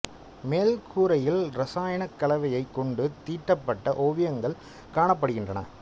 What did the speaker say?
மேல் கூரையில் ரசாயனக் கலவையைக் கொண்டு தீட்டப்பட்ட ஓவியங்கள் காணப்படுகின்றன